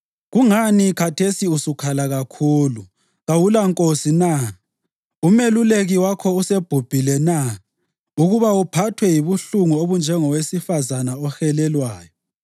Kungani khathesi usukhala kakhulu, kawulankosi na? Umeluleki wakho usebhubhile na, ukuba uphathwe yibuhlungu obunjengowesifazane ohelelwayo?